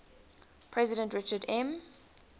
president richard m